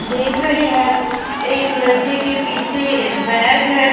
देख रहे हैं एक लड़के के पीछे बैग है।